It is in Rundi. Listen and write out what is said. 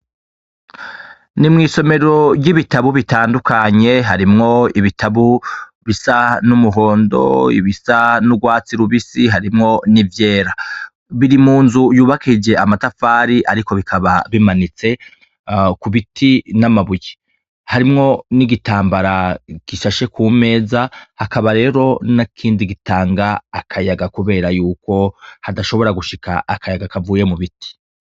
Ni mw'isomero ry'ibitabu bitandukanye harimwo ibitabu bisa n'umuhondo ibisa n'urwatsi rubisi harimwo n'ivyera biri mu nzu yubakije amatafari, ariko bikaba bimanitse ku biti n'amabuye harimwo n'igitambara gisa sha she ku meza akaba rero n'kindi gitanga akayaga, kubera yuko hadashobora gushika akayaga kavuye mu biti.